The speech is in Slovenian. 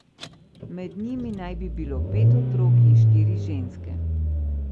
Med njimi naj bi bilo pet otrok in štiri ženske.